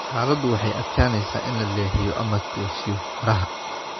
Xaaladdu waxay adkeynaysaa in la leexiyo ama toosiyo faraha.